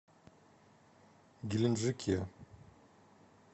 геленджике